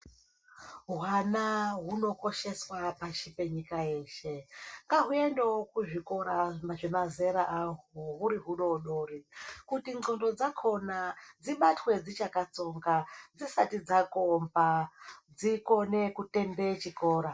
Hwana hunokosheswa pashi penyika yeshe, ngahuendewo kuzvikora zvemazera ahwo huri hudoodori, kuti ndxondo dzakona dzibatwe dzichalkatsonga, dzisati dzakomba. Dzikone kutende chikora.